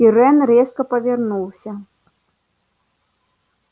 пиренн резко повернулся